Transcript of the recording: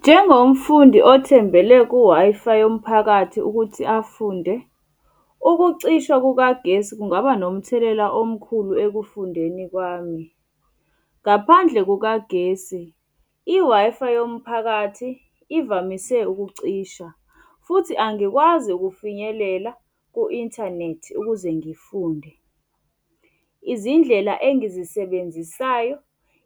Njengomfundi othembele ku-Wi-Fi yomphakathi ukuthi afunde, ukucishwa kukagesi kungaba nomthelela omkhulu ekufundeni kwami. Ngaphandle kukagesi, i-Wi-Fi yomphakathi ivamise ukucisha futhi angikwazi ukufinyelela ku-inthanethi ukuze ngifunde izindlela engizisebenzisayo.